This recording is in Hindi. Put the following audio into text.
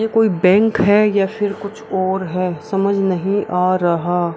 ये कोई बैंक है या फिर कुछ और है समझ नहीं आ रहा --